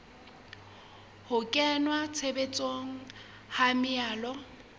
ho kenngwa tshebetsong ha melao